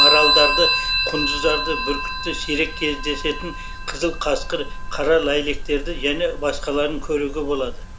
маралдарды құндыздарды бүркітті сирек кездесетін қызыл қасқыр қара ләйлектерді және басқаларын көруге болады